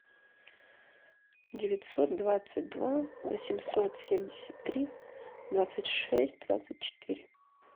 девятьсот двадцать два восемьсот семьдесят три двадцать шесть двадцать четыре